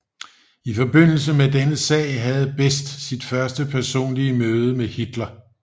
I forbindelse med denne sag havde Best sit første personlige møde med Hitler